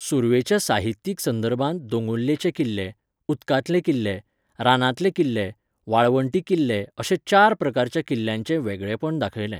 सुर्वेच्या साहित्यीक संदर्भांत दोंगुल्लेचे किल्ले, उदकांतले किल्ले, रानांतले किल्ले, वाळवंटी किल्ले अशे चार प्रकारच्या किल्ल्याचें वेगळेंपण दाखयलें.